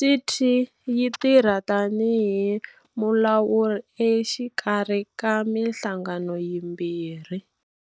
CT yi tirha tanihi mulawuri exikarhi ka mihlangano yimbirhi.